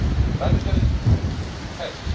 Radicalism has.